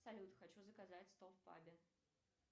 салют хочу заказать стол в пабе